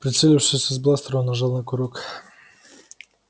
прицелившись из бластера он нажал на курок